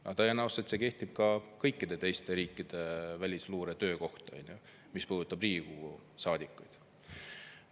Aga tõenäoliselt see kehtib kõikide teiste riikide välisluure töö kohta, mis puudutab parlamendiliikmeid.